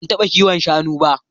Ban taɓa kiwon shanu ba.